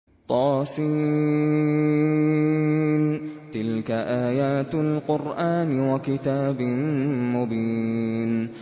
طس ۚ تِلْكَ آيَاتُ الْقُرْآنِ وَكِتَابٍ مُّبِينٍ